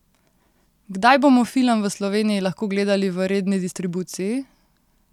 Kdaj bomo film v Sloveniji lahko gledali v redni distribuciji?